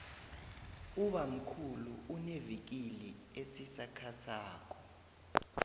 ubammkhulu unevikili esisakhasako